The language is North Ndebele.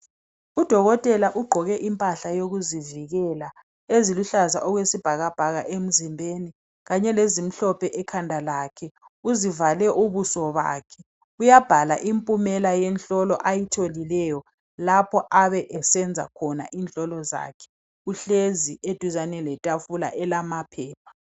Udokotela ugqoke impahla yokuzivikela eziluhlaza okwesibhakabhaka emzimbeni kanye lezimhlophe ekhanda lakhe .Uzivale ubuso bakhe. Uyabhala impumela yenhlolo ayitholileyo laphe ebesenza khona inhlolo zakhe. Uhlezi eduzane letafula elamaphepha.